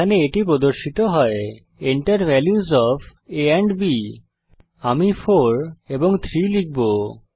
এখানে এটি প্রদর্শিত হয় Enter values of a and b আমি 4 এবং 3 হিসাবে লিখব